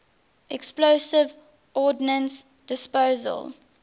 explosive ordnance disposal